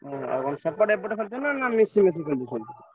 ହଁ ଆଉ କଣ ସେପଟେ ଏପଟେ ଖେଳୁଛ ନା ମିଶିମାଶି ସବୁ ଖେଳୁଛ